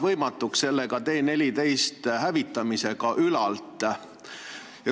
See teeb T-14 hävitamise ka ülalt võimatuks.